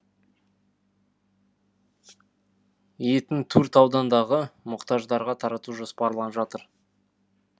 етін төрт аудандағы мұқтаждарға тарату жоспарланып отыр